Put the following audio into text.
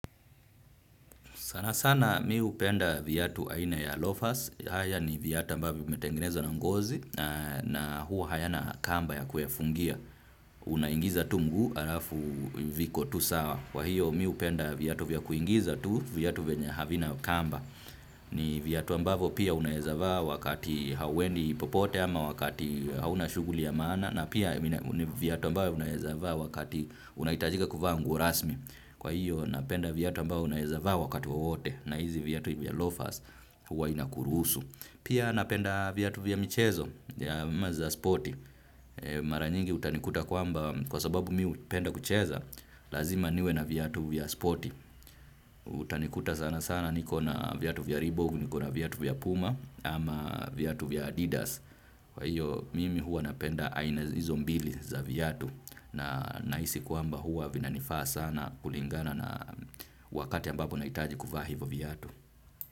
Sana sana mi hupenda viatu aina ya lofas. Haya ni viatu ambavyo vimetengenezwa na ngozi na huwa hayana kamba ya kufungia. Unaingiza tu mguu halafu viko tu sawa. Kwa hiyo mi hupenda viatu vya kuingiza tu, viatu vyenya havina kamba. Ni viatu ambavyo pia unaeza vaa wakati hauendi popote ama wakati hauna shughuli ya maana. Na pia ni viatu ambavyo unaeza vaa wakati unahitajika kuvaa nguo rasmi. Kwa hiyo napenda viatu ambao unaeza vaa wakati wowote na hizi viatu vya lofas huwa inakuruhusu. Pia napenda viatu viya michezo yeah, ama za spoti. Mara nyingi utanikuta kwamba kwa sababu miu hupenda kucheza lazima niwe na viatu viya spoti. Utanikuta sana sana niko na viatu vya Ribogu, niko na viatu vya Puma ama viatu vya Adidas. Kwa hiyo mimi huwa napenda aina hizo mbili za viatu na nahisi kwamba hua vinanifaa sana kulingana na wakati ambapo nahitaji kuvaa hivyo viatu.